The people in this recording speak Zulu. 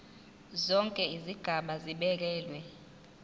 zonke izigaba zibekelwe